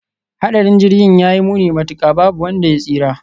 Hadarin Jirgin ya yi muni matuka, babu wanda ya tsira.